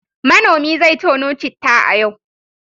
Manomi zai tono citta a yau.